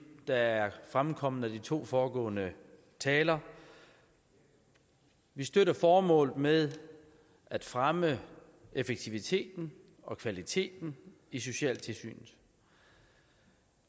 der er fremkommet hos de to foregående talere vi støtter formålet med at fremme effektiviteten og kvaliteten i socialtilsynet